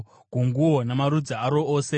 gunguo namarudzi aro ose,